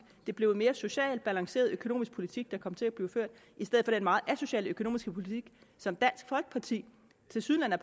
blev en mere socialt balanceret økonomisk politik der kom til at blive ført i stedet meget asociale økonomiske politik som dansk folkeparti tilsyneladende